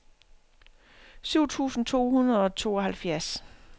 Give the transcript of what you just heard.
syv tusind to hundrede og tooghalvfjerds